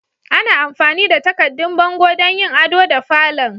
Ana amfani da takaddun bango don yin ado da falon.